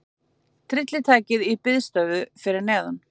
Tryllitækið í biðstöðu fyrir neðan.